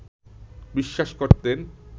বিশ্বাস করতেন,